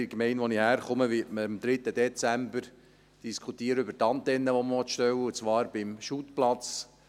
In der Gemeinde, aus der ich komme, wird man am 3. Dezember auch über die Antenne diskutieren, die man stellen will, und zwar beim Fussballplatz.